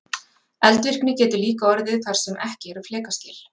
Eldvirkni getur líka orðið þar sem ekki eru flekaskil.